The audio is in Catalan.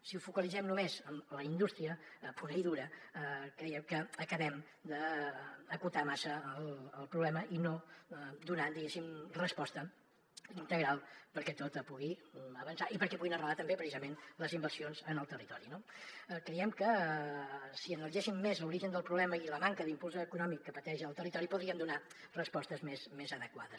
si ho focalitzem només en la indústria pura i dura creiem que acabem d’acotar massa el problema i no donar resposta integral perquè tot pugui avançar i perquè puguin arrelar també precisament les inversions en el territori no creiem que si analitzéssim més l’origen del problema i la manca d’impuls econòmic que pateix el territori podríem donar respostes més adequades